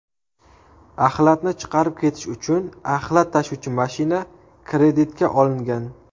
Axlatni chiqarib ketish uchun axlat tashuvchi mashina kreditga olingan.